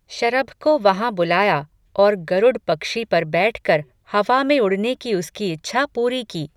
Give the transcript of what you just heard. शरभ को वहाँ बुलाया, और गरुड पक्षी पर बैठ कर, हवा में उड़ने की उसकी इच्छा पूरी की